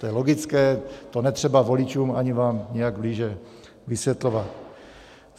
To je logické, to netřeba voličům ani vám nějak blíže vysvětlovat.